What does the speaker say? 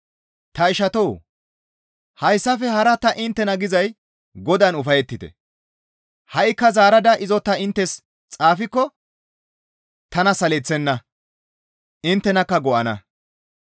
Ta ishatoo! Hayssafe hara ta inttena gizay Godaan ufayettite; ha7ikka zaarada izo ta inttes xaafikko tana saleththenna; inttenakka go7ana.